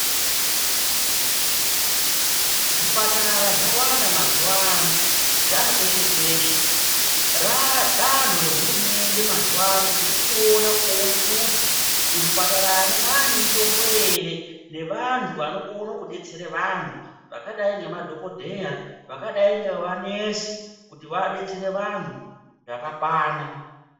Zvipatara zvawanda mazuwano, zvapeshe-peshe. Radanho rehurumende mazuwano kuti tichiona kuona kuti muzvipataramo mane mitombo ere nevanhu vanokone kudetsere vanhu vakadai ngemadhokodheya, vakadai ngevanesi kuti vadetsere vanhu zvakakwana.